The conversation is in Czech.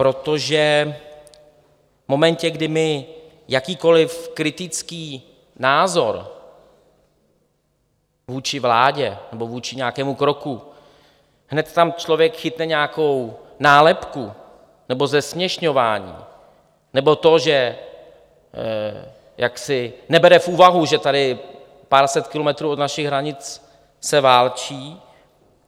Protože v momentě, kdy my jakýkoli kritický názor vůči vládě nebo vůči nějakému kroku, hned tam člověk chytne nějakou nálepku nebo zesměšňování, nebo to, že jaksi nebere v úvahu, že tady pár set kilometrů od našich hranic se válčí.